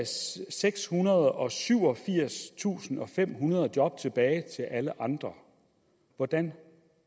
sekshundrede og syvogfirstusindfemhundrede job tilbage til alle andre hvordan